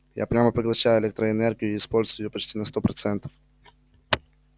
я прямо поглощаю электроэнергию и использую её почти на сто процентов